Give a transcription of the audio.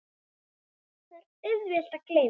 Það er auðvelt að gleyma.